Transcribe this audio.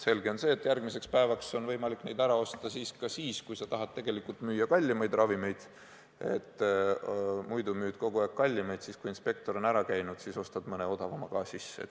Selge on see, et järgmiseks päevaks on võimalik neid ära osta ka siis, kui sa tahad tegelikult müüa kallimaid ravimeid, st muidu müüd kogu aeg kallimaid, aga siis, kui inspektor on ära käinud, ostad mõne odavama ka sisse.